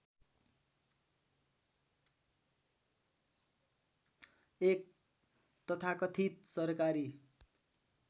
एक तथाकथित सरकारी